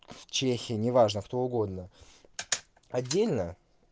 чехия неважно кто угодно отдельно